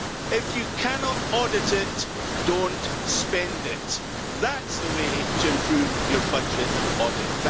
If you cannot audit it, don't spend it. That's the way to improve your budget audit.